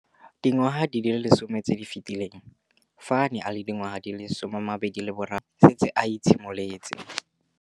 Dingwaga di le 10 tse di fetileng, fa a ne a le dingwaga di le 23 mme a setse a itshimoletse.